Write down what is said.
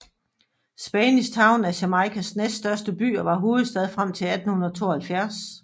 Spanish Town er Jamaicas næststørste by og var hovedstad frem til 1872